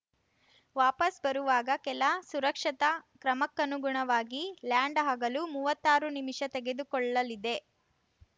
ವಾಪಸ್‌ ಬರುವಾಗ ಕೆಲ ಸುರಕ್ಷತಾ ಕ್ರಮಕ್ಕನುಗುಣವಾಗಿ ಲ್ಯಾಂಡ್‌ ಆಗಲು ಮೂವತ್ತಾರು ನಿಮಿಷ ತೆಗೆದುಕೊಳ್ಳಲಿದೆ